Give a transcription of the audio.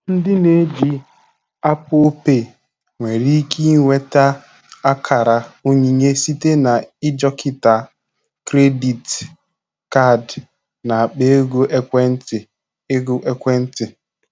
Ndị na eji Apple Pay nwere ike inweta akara onyinye site na i jikọta krediti kaadị na akpa ego ekwentị ego ekwentị